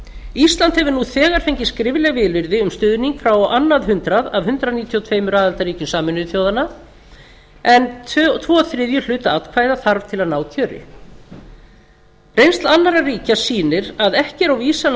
ísland hefur nú þegar fengið skrifleg vilyrði um stuðning frá á annað hundrað af hundrað níutíu og tveimur aðildarríkjum á en tveir þriðju hluta atkvæða þarf til að ná kjöri reynsla annarra ríkja sýnir að ekki er á vísan að